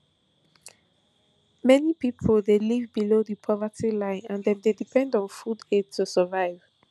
many pipo dey live below di poverty line and dem dey depend on food aid to survive